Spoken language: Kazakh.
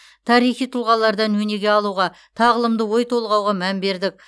тарихи тұлғалардан өнеге алуға тағылымды ой толғауға мән бердік